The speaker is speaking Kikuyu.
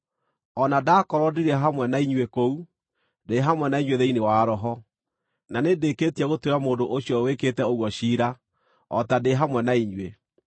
O na ndakorwo ndirĩ hamwe na inyuĩ kũu, ndĩ hamwe na inyuĩ thĩinĩ wa roho, na nĩndĩkĩtie gũtuĩra mũndũ ũcio wĩkĩte ũguo ciira, o ta ndĩ hamwe na inyuĩ.